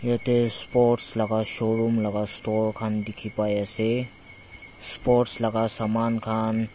yatae sports laka showroom laka store khan dikhipaiase sports laka saman khan.